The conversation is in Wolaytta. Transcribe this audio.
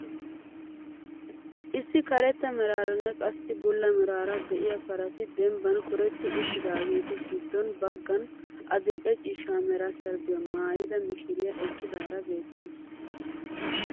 Issi karetta meraaranne qassi bulla meraara de'iyaa parati dembbaa kooretti uttidaageti giddo baggan adil'e ciishsha mera sharbbiyaa maayida mishiriyaa eqqidaara beettawus.